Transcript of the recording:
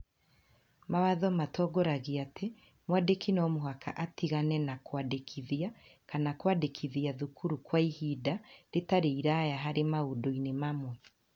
Mawatho matongoragia atĩ mwandĩki no mũhaka atigane na kwandĩkithia kana kwandĩkithia thukuru kwa ihinda rĩtarĩ iraaya harĩ maũndũ-inĩ mamwe